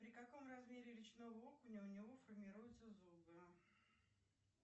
при каком размере речного окуня у него формируются зубы